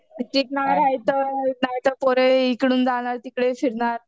नाहीतर पोरे इकडून जाणार तिकडे फिरणार.